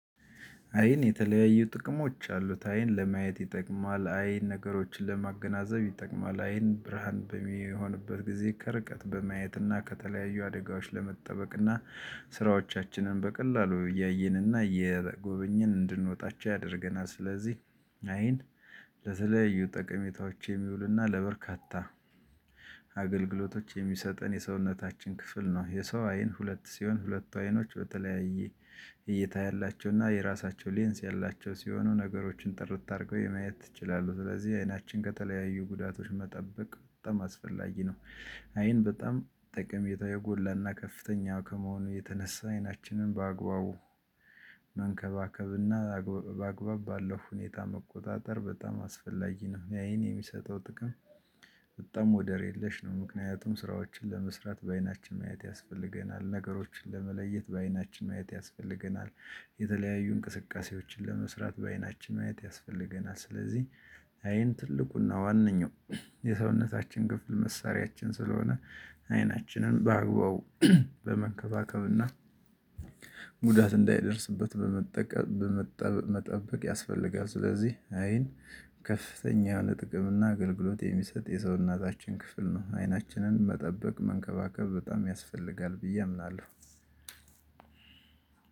አይን የተለያዩ ጥቅሞች አሉት አይን ለማየት ይጠቅማል አይን ነገሮችን ለማገናዘብ ይጠቅማል። አይን በሚሆንበት ጊዜ ከርቀት በማየት እና ከተለያዩ አደጋዎች ለመጠበቅ እና ስራዎቻችንን በቀላሉ እያየንና እየጎበኘን እንድንወጣቸው ያደርገናል። ስለዚህ አይን ለተለያዩ ጠቀሜታዎች የሚውልና ለበርካታ አገልግሎቶች የሚሰጠን የሰውነታችን ክፍል ነው። የሰው አይን ሁለት ሲሆን ሁለቱ አይኖች በተለያየ እይታ ያላቸው እና የራሳቸው ሌንስ ያላቸው ሲሆኑ ነገሮችን ጥርት አድርገው የማየት እችላለሁ። ስለዚህ አይናችን ከተለያዩ ጉዳቶች መጠበቅ በጣም አስፈላጊ ነው። አይን በጣም ጥቅሜታው የጎላና ከፍተኛ ከመሆኑ የተነሳ አይናችንን በአግባቡ መንከባከብና አግባብ ባለው ሁኔታ መቆጣጠር በጣም አስፈላጊ ነው። አይን የሚሰጠው ጥቅም በጣም ወደር የለሽ ነው። ምክንያቱም ስራዎችን ለመስራት በአይናችን ማየት ያስፈልገናል ነገሮችን ለመለየት በአይናችን ማየት ያስፈልገናል። የተለያዩ እንቅስቃሴዎችን ለመስራት በአይናችን ማየት ያስፈልገናል። ስለዚህ አይን ትልቁና ዋነኛው የሰውነታችን ክፍል መሳሪያችን ስለሆነ አይናችንን በአግባቡ በመከባከብና እንዳይደርስበት በመጠበቅ መጠበቅ ያስፈልጋል። ስለዚህ አይን ከፍተኛ የሆነ ጥቅም እና አገልግሎት የሚሰጥ የሰውነታችን ክፍል ነው። አይናችንን መጠበቅ መንከባከብ በጣም ያስፈልጋል ብዬ አምናለሁ።